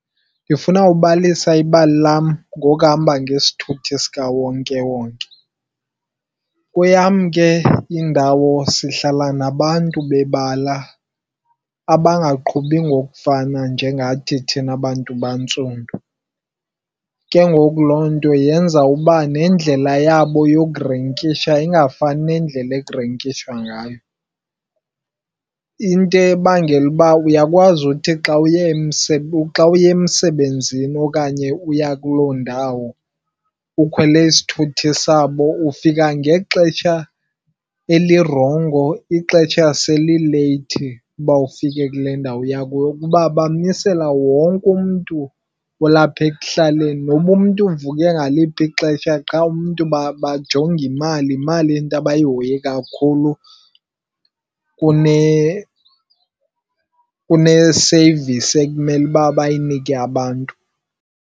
Ndifuna ubalisa ibali lam ngokuhamba ngesithuthi sikawonkewonke. Kweyam ke indawo sihlala nabantu bebala abangaqhubi ngokufana njengathi thina bantu bantsundu. Ke ngoku loo nto yenza uba nendlela yabo yokurenkisha ingafani nendlela ekurenkishwa ngayo. Into ebangela uba uyakwazi uthi xa uye xa uye emsebenzini okanye uya kuloo ndawo ukhwele isithuthi sabo ufika ngexesha elirongo ixesha selileyithi uba ufike kule ndawo uya kuyo. Kuba bamisela wonke umntu olapha ekuhlaleni noba umntu uvuke ngaliphi ixesha qha umntu bajonge imali. Yimali into abayihoyileyo kakhulu kune-service ekumele uba bayinike abantu.